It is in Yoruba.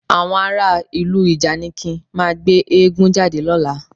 Àwọn ará ìlú ìjànikin máa gbé eégún jáde lọ́la